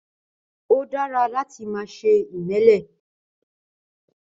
Ó dára láti má ṣe imẹ́lẹ